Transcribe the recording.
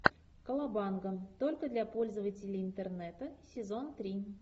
колобанга только для пользователей интернета сезон три